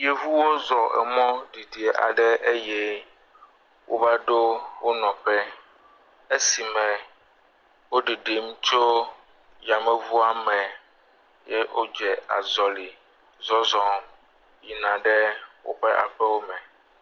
Yameŋuwo zɔ emɔ didi aɖe eye wova ɖo wo nɔƒe, esi me woɖiɖim tso yameŋua me ye wodze azɔlɛ̃ zɔzɔ̃ yina ɖe woƒe aƒewo me.